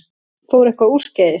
Fór eitthvað úrskeiðis?